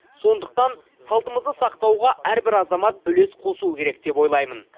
сондықтан салтымызды сақтауға әрбір азамат үлес қосуы керек деп ойлаймын